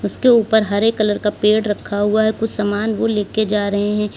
उसके ऊपर हरे कलर का पेड़ रखा हुआ है कुछ समान वो लेके जा रहे हैं।